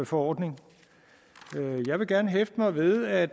forordning jeg vil gerne hæfte mig ved at